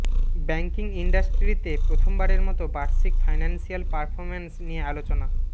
banking ইন্ডাস্ট্রিতে প্রথমবারের মতো বার্ষিক ফাইন্যান্সিয়াল পারফর্মেন্স নিয়ে আলোচনা